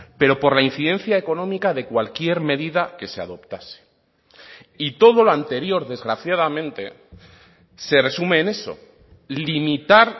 pero por la incidencia económica de cualquier medida que se adoptase y todo lo anterior desgraciadamente se resume en eso limitar